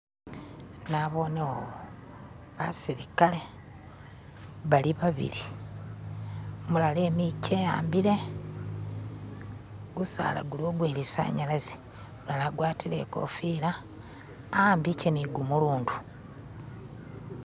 nabonewo basilikale bali babili umulala emikye ehambile gusaala guliwo gwelisanalaze umulala agwatile ikofila awambikye nigumulundu